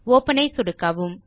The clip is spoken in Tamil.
ஒப்பன் ஐ சொடுக்கவும்